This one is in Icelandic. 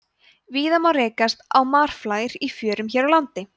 víða má rekast á marflær í fjörum hér á landi